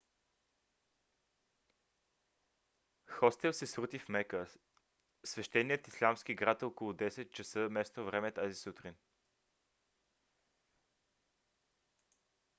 хостел се срути в мека свещеният ислямски град около 10 часа местно време тази сутрин